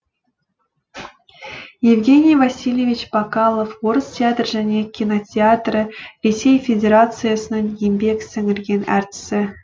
евгений васильевич бакалов орыс театр және кинотеатрі ресей федерациясының еңбек сіңірген әртісі